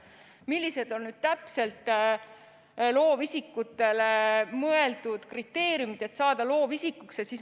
Millised on täpselt kriteeriumid, et saada loovisikuks?